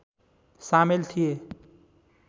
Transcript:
सामेल थिए